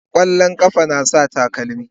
Yan kwallon kafa yana sa takalma.